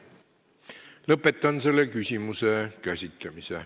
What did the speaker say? Lõpetan selle küsimuse käsitlemise.